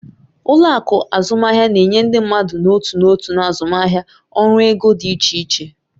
Ụlọ akụ azụmaahịa na-enye ndị mmadụ n'otu n'otu na azụmaahịa ọrụ ego dị iche iche.